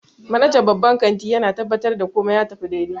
Manajan babban kanti yana tabbatar da komai ya tafi daidai